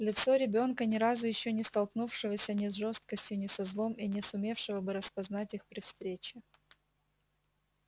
лицо ребёнка ни разу ещё не столкнувшегося ни с жёстокостью ни со злом и не сумевшего бы распознать их при встрече